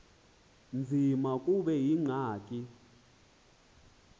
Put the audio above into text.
nzima kube yingxaki